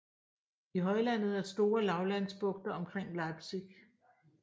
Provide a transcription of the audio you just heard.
I højlandet er store lavlandsbugter omkring Leipzig